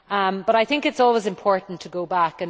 But I think it is always important to go back.